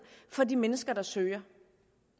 for de mennesker der søger